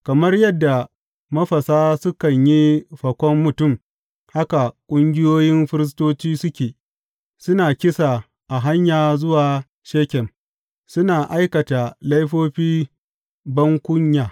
Kamar yadda mafasa sukan yi fakon mutum, haka ƙungiyoyin firistoci suke; suna kisa a hanya zuwa Shekem, suna aikata laifofi bankunya.